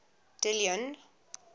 dillon